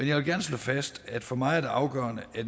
jeg vil gerne slå fast at for mig er det afgørende at